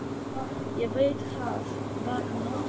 Ég veit það var um nóttina.